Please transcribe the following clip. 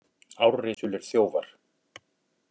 Árrisulir þjófar